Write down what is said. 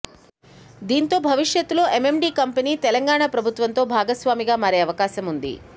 దీంతో భవిష్యత్తులో AMD company Telangana ప్రభుత్వంతో భాగస్వామిగా మారే అవకాశముంది